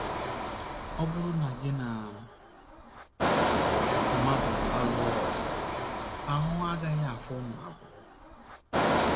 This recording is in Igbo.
Ọ bụrụ na gị na mmadụ alụọ ọgụ, ahụ́ agaghị afọ unu abụọ.